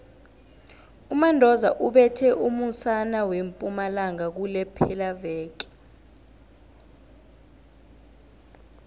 umandoza ubethe umusana wempumalanga kulephelaveke